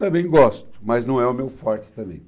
Também gosto, mas não é o meu forte também.